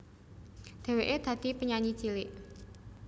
Dhèwèké dadi penyanyi cilik